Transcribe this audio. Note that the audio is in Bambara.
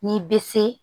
N'i bɛ se